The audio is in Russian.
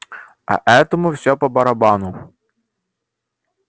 а этому всё по-барабану